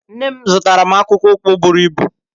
Nne m zụtara m akpụkpọ ụkwụ buru ibụ.